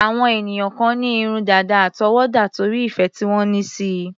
Àwọn ènìyàn kan ní irun dàda àtọwọ́dá, torí ìfẹ́ tí wọ́n ní síi.